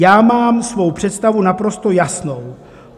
Já mám svou představu naprosto jasnou.